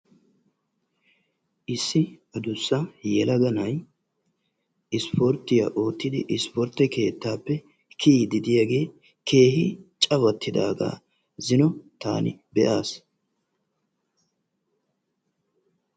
Issi adussa yelaga na"ayi ispporttiya oottidi ispportte keettaappe kiyiiddi diyagee keehi cawattidaaga zino taani be"aas.